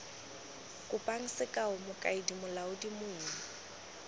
kopang sekao mokaedi molaodi mong